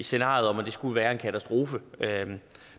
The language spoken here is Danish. scenarie at det skulle være en katastrofe